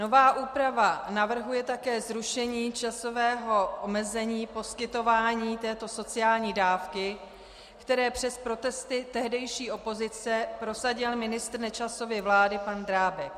Nová úprava navrhuje také zrušení časového omezení poskytování této sociální dávky, které přes protesty tehdejší opozice prosadil ministr Nečasovy vlády pan Drábek.